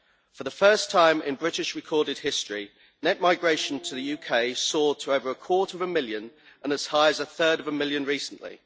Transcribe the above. For the first time in British recorded history, net migration to the UK soared to over a quarter of a million and as high as a third of a million recently.